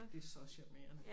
Det så charmerende